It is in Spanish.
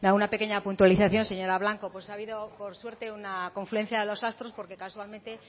una pequeña puntualización señora blanco ha habido por suerte una confluencia de los astros porque casualmente